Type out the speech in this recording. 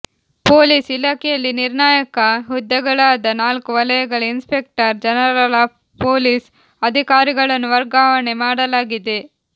police ಇಲಾಖೆಯಲ್ಲಿ ನಿರ್ಣಾಯಕ ಹುದ್ದೆಗಳಾದ ನಾಲ್ಕು ವಲಯಗಳ ಇನ್ಸ್ಪೆಕ್ಟರ್ ಜನರಲ್ ಆಫ್ ಪೊಲೀಸ್ ಅಧಿಕಾರಿಗಳನ್ನು ವರ್ಗಾವಣೆ ಮಾಡಲಾಗಿದೆ